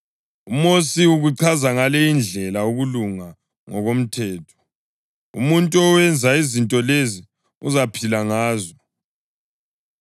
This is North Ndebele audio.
UMosi ukuchaza ngale indlela ukulunga okungomthetho: “Umuntu owenza izinto lezi uzaphila ngazo.” + 10.5 ULevi 18.5